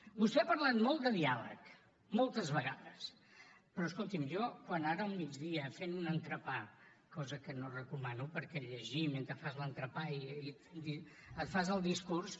vostè ha parlat molt de diàleg moltes vegades però escolti’m jo quan ara al migdia fent un entrepà cosa que no recomano perquè llegir mentre fas l’entrepà i et fas el discurs